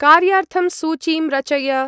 कार्यार्थं सूचीं रचय।